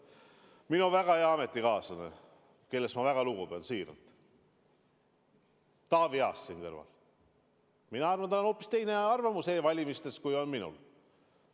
Aga minu väga hea ametikaaslane, kellest ma siiralt väga lugu pean, Taavi Aas siin kõrval – mina arvan, et tal on hoopis teine arvamus e-valimistest kui minul.